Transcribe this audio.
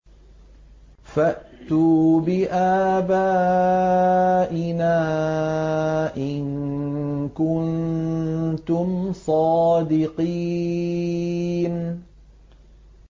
فَأْتُوا بِآبَائِنَا إِن كُنتُمْ صَادِقِينَ